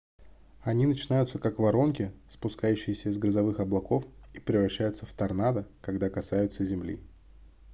они начинаются как воронки спускающиеся из грозовых облаков и превращаются в торнадо когда касаются земли